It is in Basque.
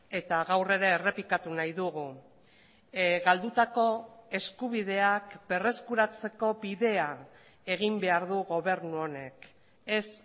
eta gaur ere errepikatu nahi dugu galdutako eskubideak berreskuratzeko bidea egin behar du gobernu honek ez